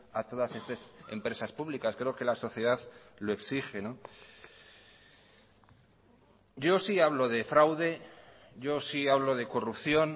a todas estas empresas públicas creo que la sociedad lo exige yo sí hablo de fraude yo sí hablo de corrupción